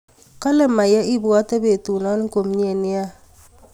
kale Maya ibwate petunan komyee nea